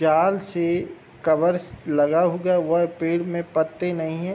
जाल से कवर्स लगा हुगा हुआ पेड़ में पत्ते नहीं हैं।